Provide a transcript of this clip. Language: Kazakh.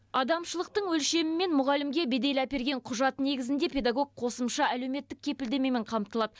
адамшылықтың өлшемімен мұғалімге бедел әперген құжат негізінде педагог қосымша әлеуметтік кепілдемемен қамтылады